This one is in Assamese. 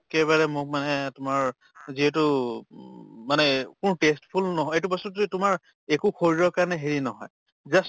একে বাৰে মোক মানে তোমাৰ যিহেতু মানে মোৰ tasteful নহয়, এইটো বস্তুটো যে তোমাৰ একো শৰীৰৰ কাৰণে হেৰি নহয়, just